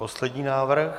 Poslední návrh.